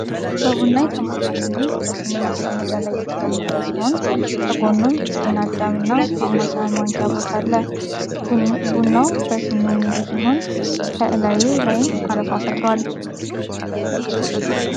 በቡና የተሞላ ሲኒ በሲኒ ማስቀመጫ ላይ የተቀመጠ ሲሆን ከጎኑም ጤና አዳም እና ማማሰያ ማንኪያ አብሮት አለ። ቡናው በሲኒው ሙሉ ሲሆን ከላዩ ላይም አረፋ ፈጥሯል።